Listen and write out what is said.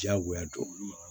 Diyagoya don